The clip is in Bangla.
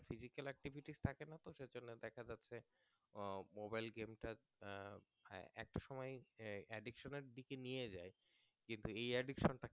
আহ Mobile game টার আহ একটা সময় Addiction এর দিকে নিয়ে যায় কিন্তু এই Addiction টাকে